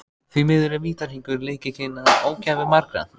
Því miður er vítahringur lykillinn að ógæfu margra.